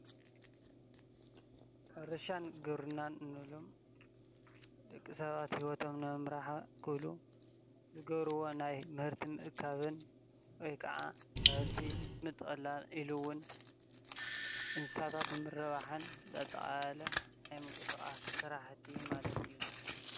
ሕርሻን ግብርናን እንብሎም ደቂ ሰባት ሂወቶም ንምምራሕ ክብሉ ዝገብርዎ ናይ ምህርቲ ምእካብን ወይ ከዓ ምህርቲ ምጥቅላል ኢሉ እውን እንስሳታት ንምርባሕን ዘጠቃለለ ናይ ምንቅስቃስ ስራሕቲ ማለት እዩ፡፡